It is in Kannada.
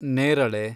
ನೇರಳೆ